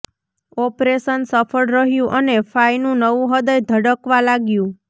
operation સફળ રહયું અને ફાયનું નવું હૃદય ધડકવા લાગ્યું